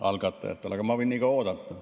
Aga ma võin niikaua oodata.